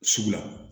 Sugu la